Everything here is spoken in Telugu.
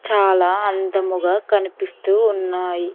చాలా అందముగా కనిపిస్తూ ఉన్నాయి.